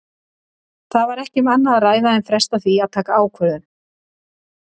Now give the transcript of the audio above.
Það var ekki um annað að ræða en fresta því að taka ákvörðun.